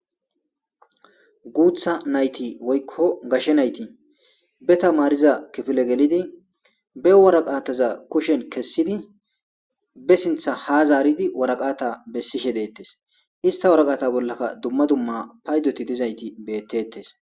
Guta nayiti woyikko gashe nayiti be tamariza kefile gelidi be woreqataza kushshen kesidi besinta ha zaridi woraqata besishe detes ista woraqata bolaka dumma dumma payidoti dizayiti betetes.